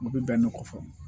U bɛ bɛn ni kɔfɔ